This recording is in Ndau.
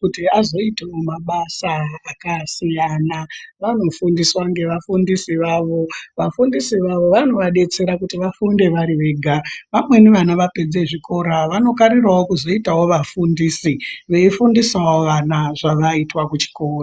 kuti azoitawo mabasa akasiyana vanofundiswa ngevafundisi vawo vafundisi vawo vanovadetsera kuti vafunde vari vega vamweni vana vapedze zvikora vanogarirawo kuzoita vafundisi veifundisawo vana zvavaiita kuchikora.